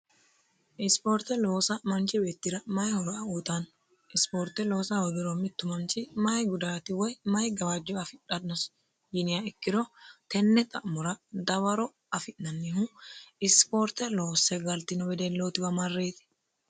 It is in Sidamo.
Sporte loossa manchi beettira mayi horo uyittano ,sporte loossa hoogiro mitu manchi mayi gawajo woyi mayi gudati afiranosi yiniro tene xa'mora dawaro affi'nannihu sporte loosse galtino wedelliwa marreti.